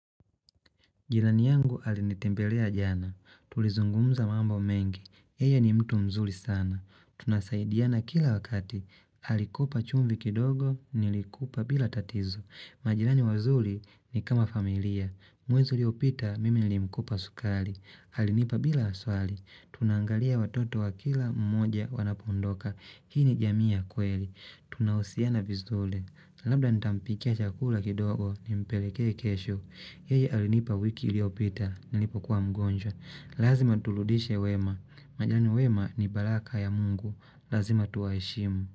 Jilani yangu alinitembelea jana. Tulizungumza mambo mengi. Yeye ni mtu mzuri sana. Tunasaidiana kila wakati. Halikupa chumvi kidogo, nilikupa bila tatizo. Majilani wazuli ni kama familia. Mwezi uliopita mimi nilimkopa sukari. Halinipa bila aswali. Tunangalia watoto wa kila mmoja wanapoondoka. Hii ni jamii ya kweli. Tunahusiana vizuri. Labda nitampikia chakula kidogo, nimpeleke kesho. Yeye alinipa wiki iliopita, nilipo kuwa mgonjwa Lazima turudishe wema Maana wema ni baraka ya mungu Lazima tuwaheshimu.